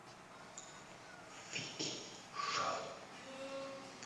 вики шоу